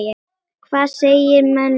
Hvað segja menn um það?